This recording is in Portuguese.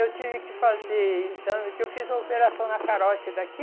Eu tive que fazer exame, porque eu fiz uma operação na carote daqui.